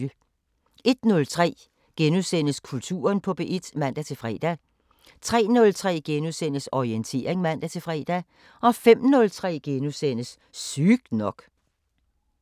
01:03: Kulturen på P1 *(man-fre) 03:03: Orientering *(man-fre) 05:03: Sygt nok *